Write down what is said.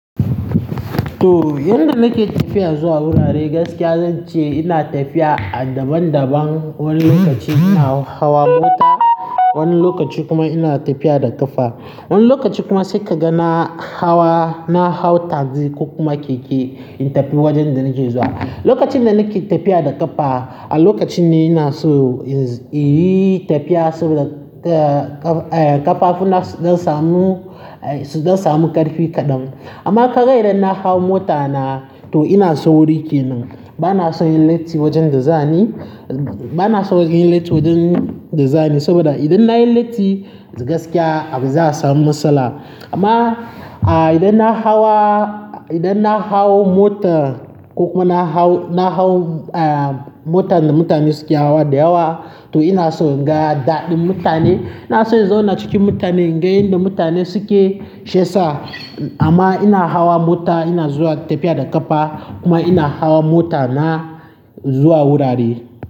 To yanda nake tafiya zuwa gurare gaskiya zan ce ina tafiya a daban-daban. Wani lokaci ina hawa mota, wani lokaci kuma ina tafiya da ƙafa. Wani lokaci kuma sai ka ga na hawa, na hau taxi ko kuma keke in tafi wajen da nake zuwa. Lokacin da nake tafiya da ƙafa, a lokacin ne ina so, eh, tafiya saboda, eh, ƙafafuna su dan samu, su dan samu ƙarfi kaɗan. Amma ka ga idan na hau mota na to ina so sauri ke nan, bana so in latti wajen da za ni, bana so in latti wajen da za ni saboda idan na yi latti gaskiya za a samu matsala. Amma, a idan na hawa, idan na hau mota ko kuma na hau, na hau, eh, motar da mutane suke hawa da yawa to ina so in ga daɗin mutane. Na so in zauna ciki mutane, inga yadda mutane suke shi yasa. Amma ina hawa mota ina zuwa tafiya da ƙafa kuma ina hawa mota na zuwa gurari.